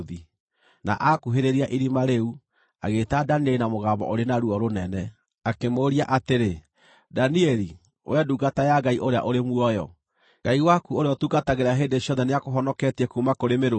Na aakuhĩrĩria irima rĩu, agĩĩta Danieli na mũgambo ũrĩ na ruo rũnene, akĩmũũria atĩrĩ, “Danieli, wee ndungata ya Ngai ũrĩa ũrĩ muoyo, Ngai waku ũrĩa ũtungatagĩra hĩndĩ ciothe nĩakũhonoketie kuuma kũrĩ mĩrũũthi?”